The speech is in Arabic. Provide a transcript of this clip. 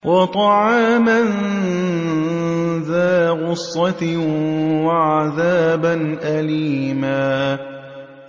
وَطَعَامًا ذَا غُصَّةٍ وَعَذَابًا أَلِيمًا